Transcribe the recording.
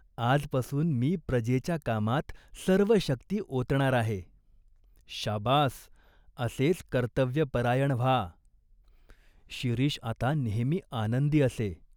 आजपासून मी प्रजेच्या कामात सर्व शक्ति ओतणार आहे." "शाबास, असेच कर्तव्यपरायण व्हा." शिरीष आता नेहमी आनंदी असे.